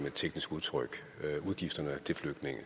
et teknisk udtryk udgifterne til flygtninge